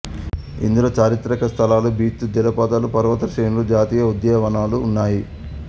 ఇందులో చారిత్రక స్థలాలు బీచ్లు జలపాతాలు పర్వత శ్రేణులు జాతీయ ఉద్యానవనాలు ఉన్నాయి